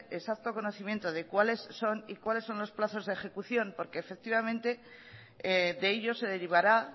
exacto conocimiento de cuáles son y cuáles son los plazos de ejecución porque efectivamente de ellos se derivará